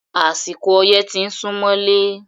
Àsìkò ọyẹ́ ti ń súmọ́lé.